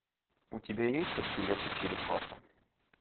у тебя есть ахиллес и черепаха